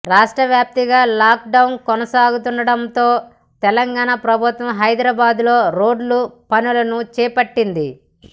రాష్ట్ర వ్యాప్తంగా లాక్డౌన్ కొనసాగుతుండటంతో తెలంగాణ ప్రభుత్వం హైదరాబాద్లో రోడ్డు పనులను చేపట్టింది